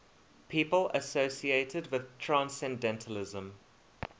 people associated with transcendentalism